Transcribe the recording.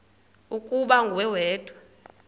ukuba nguwe wedwa